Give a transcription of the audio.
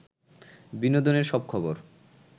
বিনোদনের সব খবর